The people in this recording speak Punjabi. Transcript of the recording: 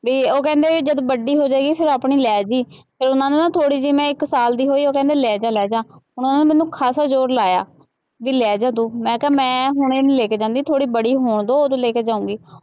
ਬਈ ਉਹ ਕਹਿੰਦੇ ਬਈ ਜਦੋਂ ਵੱਡੀ ਹੋ ਜਾਏਗੀ ਫਿਰ ਆਪਣੀ ਲੈ ਜਾਈਂ, ਫਿਰ ਉਹਨਾ ਨੂੰ ਥੋੜ੍ਹੀ ਜਿਹੀ ਮੈਂ ਇੱਕ ਸਾਲ ਦੀ ਹੋਈ, ਉਹ ਕਹਿੰਦੇ ਲੈ ਜਾ, ਲੈ ਜਾ, ਹੁਣ ਉਹਨਾ ਨੇ ਮੈਨੂੰ ਖਾਸਾ ਜ਼ੋਰ ਲਾਇਆ, ਬਈ ਲੈ ਜਾ ਤੂੰ, ਮੈਂ ਕਿਹਾ ਮੈਂ ਹੁਣੇ ਨਹੀਂ ਲੈ ਕੇ ਜਾਂਦੀ, ਥੋੜ੍ਹੀ ਬੜੀ ਹੋਣ ਦਿਉ ਉਦੋਂ ਲੈ ਕੇ ਜਾਊਂਗੀ।